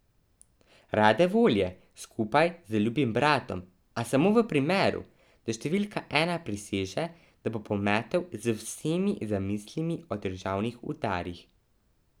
Rade volje skupaj z ljubim bratom, a samo v primeru, da številka ena priseže, da bo pometel z vsemi zamislimi o državnih udarih.